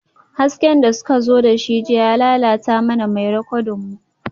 Hasken da suka zo da shi jiya ya lalata mana mai rikodin mu